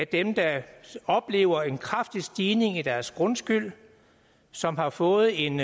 dem der oplever en kraftig stigning i deres grundskyld som har fået en